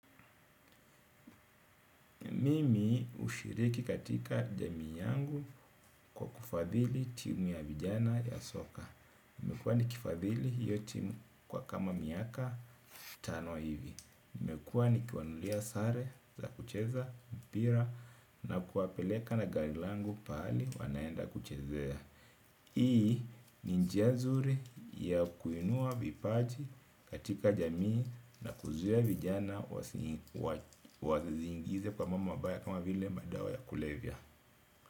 Mimi hushiriki katika jamii yangu kwa kufadhili timu ya vijana ya soka. Nimekuwa nikifadhili hiyo timu kwa kama miaka tano hivi. Nimekuwa nikiwanulia sare za kucheza mpira na kuwapeleka na gari langu pahali wanaenda kuchezea. Hii ni njia nzuri ya kuinua vipaji katika jamii na kuzuia vijana wasijiingize kwa mambo mabaya kama vile madawa ya kulevya.